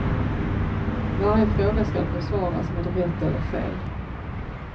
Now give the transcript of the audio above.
Varje fråga skall besvaras med rätt eller fel.